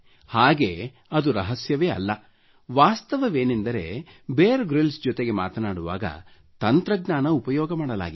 ಹಾಗೆ ಅದು ರಹಸ್ಯವೇ ಅಲ್ಲ ವಾಸ್ತವವೇನೆಂದರೆ ಬಿಯರ್ ಗ್ರಿಲ್ಸ್ ಜೊತೆ ಮಾತನಾಡುವಾಗ ತಂತ್ರಜ್ಞಾನ ಉಪಯೋಗ ಮಾಡಲಾಗಿದೆ